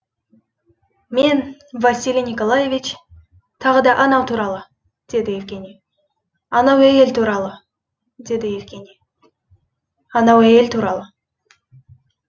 мен василий николаевич тағы да анау туралы деді евгений анау әйел туралы деді евгений анау әйел туралы